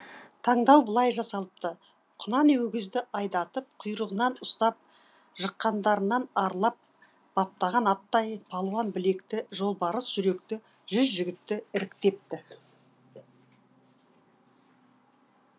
таңдау былай жасалыпты құнан өгізді айдатып құйрығынан ұстап жыққандарынан арлап баптаған аттай палуан білекті жолбарыс жүректі жүз жігітті іріктепті